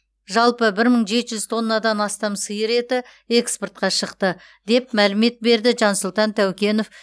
жалпы бір мың жеті жүз тоннадан астам сиыр еті экспортқа шықты деп мәлімет берді жансұлтан тәукенов